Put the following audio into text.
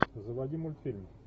заводи мультфильм